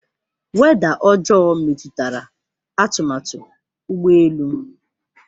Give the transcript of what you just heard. Weda ọjọọ metụtara atụmatụ ụgbọ elu m.